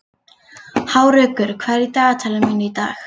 Hárekur, hvað er í dagatalinu mínu í dag?